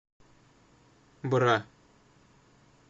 бра